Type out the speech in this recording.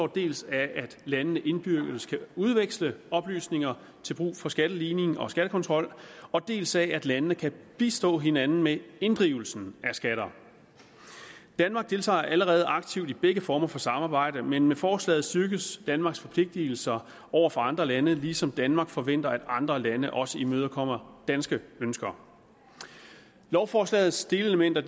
dels af at landene indbyrdes kan udveksle oplysninger til brug for skatteligning og skattekontrol dels af at landene kan bistå hinanden med inddrivelsen af skatter danmark deltager allerede aktivt i begge former for samarbejde men med forslaget styrkes danmarks forpligtelser over for andre lande ligesom danmark forventer at andre lande også imødekommer danske ønsker lovforslagets delelementer